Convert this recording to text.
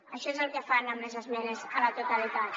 això és el que fan amb les esmenes a la totalitat